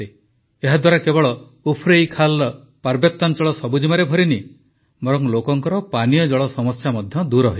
ଏହାଦ୍ୱାରା କେବଳ ଉଫ୍ରୈଖାଲର ପାର୍ବତ୍ୟାଞ୍ଚଳ ସବୁଜିମାରେ ଭରିନି ବରଂ ଲୋକଙ୍କର ପାନୀୟ ଜଳ ସମସ୍ୟା ମଧ୍ୟ ଦୂର ହୋଇଛି